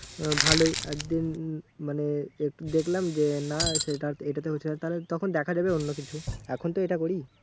আহ ভালোই আর মানে একটু দেখলাম যে না সেটা এটাতে হচ্ছে না তাহলে তখন দেখা যাবে অন্য কিছু। এখন তো এটা করি।